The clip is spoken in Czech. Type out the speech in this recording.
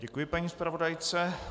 Děkuji paní zpravodajce.